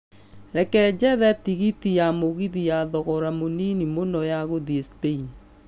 reke njethe tigiti ya mũgithi ya thogora mũnini mũno ya gũthiĩ Spain